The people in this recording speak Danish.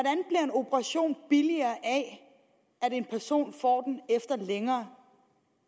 operation billigere af at en person får den efter længere